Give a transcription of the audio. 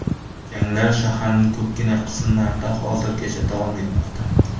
Janglar shaharning ko‘pgina qismlarida hozirgacha davom etmoqda.